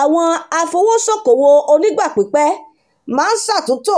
àwọn afowósókowò onígbà pípẹ́ máa ń ṣàtúntò